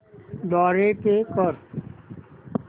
द्वारे पे कर